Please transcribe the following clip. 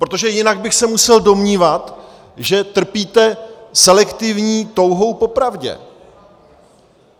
Protože jinak bych se musel domnívat, že trpíte selektivní touhou po pravdě.